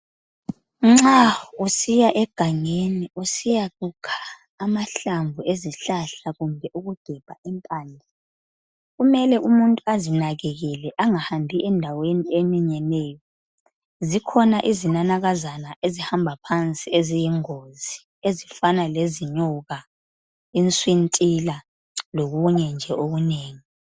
Nxa usiya egangeni usiyakukha amahlamvu ezihlahla kumbe ukugebha impande kumele umuntu azinakekele angahambi endaweni eminyeneyo zikhona izinanakazana ezihamba phansi eziyingozi ezifana lezinyoka iswintila lokunye nje okunengi.